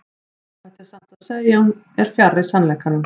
óhætt er samt að segja að hún er fjarri sannleikanum